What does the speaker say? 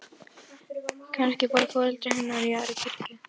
Lygnum aftur augunum, hvort með sinn ullarsokkinn undir hausnum.